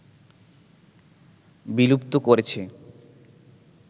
বিলুপ্ত করেছে